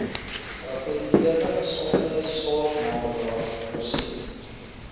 geakkrediteerde gesondheidsorgmakelaar voorsien